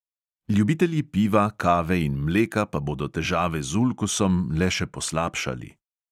Ljubitelji piva, kave in mleka pa bodo težave z ulkusom le še poslabšali.